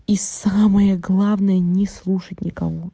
и самое главное не слушать никого